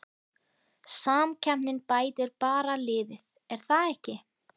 Samkeppnin bætir bara liðið er það ekki?